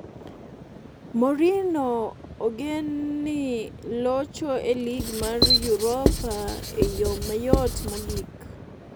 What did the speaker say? Mourinho ogeni ni locho e lig mag Europa e yo mayot mogik